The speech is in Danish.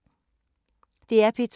DR P2